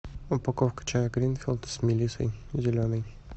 упаковка чая гринфилд с мелиссой зеленый